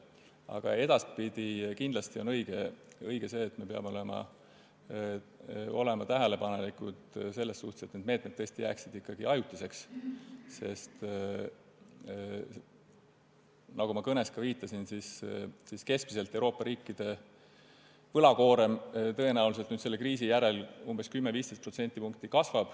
Aga edaspidise suhtes on kindlasti õige see, et me peame olema tähelepanelikud, et need meetmed jääksid ikkagi ajutiseks, sest nagu ma oma kõnes viitasin, kasvab Euroopa riikide võlakoorem tõenäoliselt selle kriis järel keskmiselt umbes 10–15%.